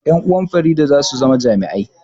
Ƴan uwan Farida za su zama jami'ai